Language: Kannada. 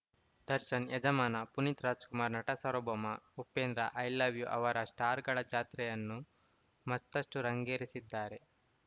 Darshan Yajamana Puneeth Rajkumar Natasaarvabhowma Upendra I love you ಅವರ ಸ್ಟಾರ್‌ಗಳ ಜಾತ್ರೆಯನ್ನು ಮತ್ತಷ್ಟುರಂಗೇರಿಸಿದ್ದಾರೆ